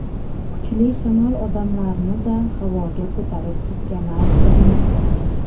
Kuchli shamol odamlarni-da havoga ko‘tarib ketgani aytilmoqda.